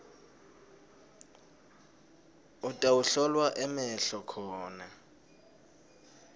utawuhlolwa emehlo khona